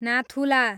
Nathula